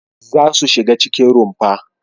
Za su shiga cikin rumfa!